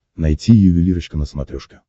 найти ювелирочка на смотрешке